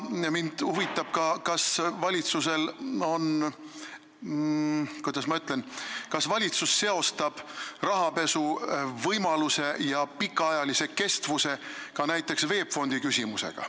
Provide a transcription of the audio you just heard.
Mind huvitab ka, kas valitsus – kuidas ma ütlengi –, kas valitsus seostab rahapesu võimaluse ja pikaajalise kestvuse ka näiteks VEB Fondi küsimusega.